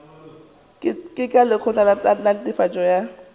ka lekgotla la netefatšo ya